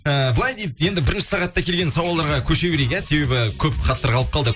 ыыы былай дейді енді бірінші сағатта келген сауалдарға көше берейік иә себебі көп хаттар қалып қалды